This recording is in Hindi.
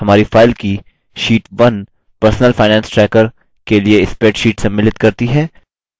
हमारी file की sheet 1 personal finance tracker के लिए spreadsheet सम्मिलित करती है